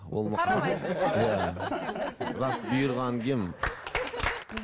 рас бұйырғанын киемін